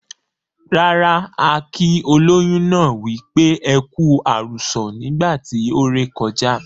Rara, a kii ólóyún náà wípé"ẹku àrùsọ̀" nígbà tí ó ré kọjá.